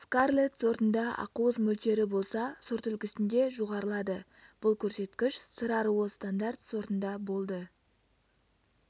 скарлетт сортында ақуыз мөлшері болса сортүлгісінде жоғарылады бұл көрсеткіш сыр аруы стандарт сортында болды